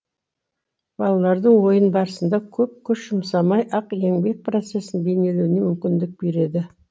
балалардың ойын барысында көп күш жұмсамай ақ еңбек процесін бейнелеуіне мүмкіндік береді